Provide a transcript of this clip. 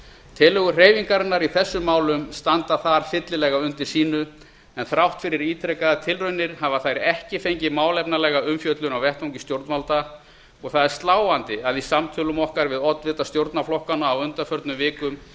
tillögur hreyfingarinnar í þessum málum standa þar fyllilega undir sínu en þrátt fyrir ítrekaðar tilraunir hafa þær ekki fengið málefnalega umfjöllun á vettvangi stjórnvalda og það er sláandi að í samtölum okkar við oddvita stjórnarflokkana á undanförnum vikum